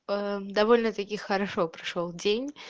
довольно-таки хорошо прошёл день